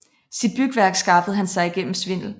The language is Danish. Sit bygværk skaffede han sig gennem svindel